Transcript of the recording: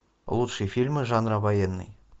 лучшие фильмы жанра военный